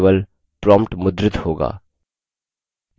केवल prompt मुद्रित होगा